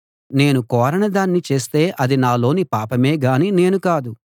నేను కోరని దాన్ని చేస్తే అది నాలోని పాపమే గాని నేను కాదు